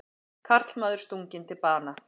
Karlmaður stunginn til bana